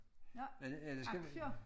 Nåh aktier